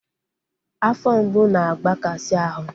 Afọ mgbu na-agbakasi ahụ